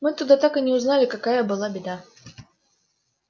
мы тогда так и не узнали какая была беда